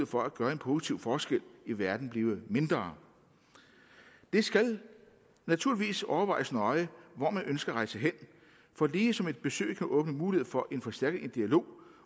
for at gøre en positiv forskel i verden blive mindre det skal naturligvis overvejes nøje hvor man ønsker at rejse hen for ligesom et besøg kan åbne mulighed for en forstærket dialog